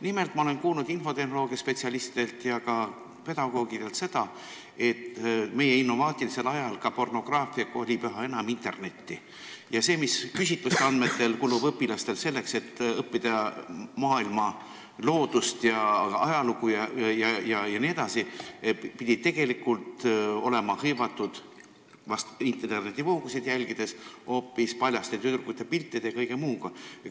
Nimelt, ma olen kuulnud infotehnoloogia spetsialistidelt ja ka pedagoogidelt, et meie innovaatilisel ajal kolib pornograafia üha enam internetti ja aeg, mis küsitluste andmetel kulub õpilastel selleks, et õppida maailma loodust ja ajalugu jne, pidi tegelikult kuluma internetivoogude jälgimisele, sh paljaste tüdrukute piltide vaatamisele ja muule sellisele.